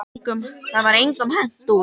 Það var engum hent út.